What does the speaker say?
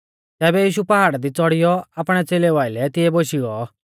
तैबै यीशु पाहाड़ा दी च़ौड़ियौ आपणै च़ेलेऊ आइलै तिऐ बोशी गौ